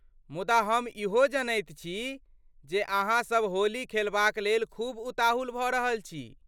मुदा ,हम इहो जनैत छी जे अहाँसब होली खेलबाक लेल खूब उताहुल भऽ रहल छी।